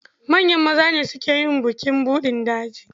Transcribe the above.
Manyan maza ne suke yin bukin buɗin daji.